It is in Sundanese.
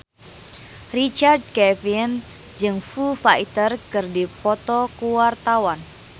Richard Kevin jeung Foo Fighter keur dipoto ku wartawan